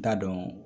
N t'a dɔn